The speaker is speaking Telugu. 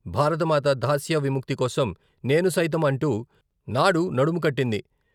భారతమాత దాస్య విముక్తి కోసం నేను సైతం అంటూ నాడు నడుముకట్టింది.